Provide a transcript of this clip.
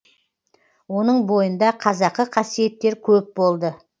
оның бойында қазақы қасиеттер көп болды